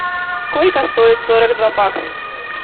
сколько стоит сорок два бакс